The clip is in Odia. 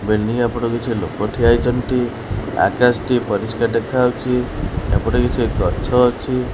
କିଛି ଲୋକ ଠିଆ ହେଇଛନ୍ତି ଆକାଶଟି ପରିସ୍କାର ଦେଖାଯାଉଛି ଏପଟେ କିଛି ଗଛ ଅଛି।